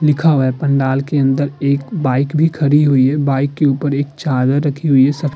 लिखा हुआ है। पंडाल के अंदर एक बाइक भी खड़ी हुई है। बाइक के ऊपर एक चादर रखी हुई है सफे --